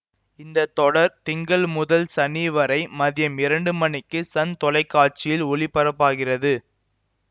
இந்த தொடர் திங்கள் முதல் சனி வரை மதியம் இரண்டு மணிக்கு சன் தொலைக்காட்சியில் ஒளிபரப்பாகிறது